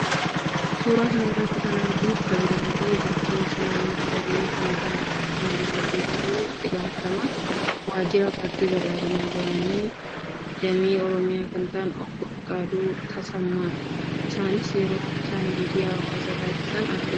Suuraa kana irratti kan arginu pirezidaantii bulchiinsa naannoo Oromiyaa kan ta'an obbo Shimallis Abdiisaa fi itti gaafatamaa waajjira paartii badhaadhinaa duraanii damee Oromiyaa kan ta'an obbo Fiqaaduu Tasammaadha. Isaanis yeroo isaan miidiyaaf haasaa taasisan argina.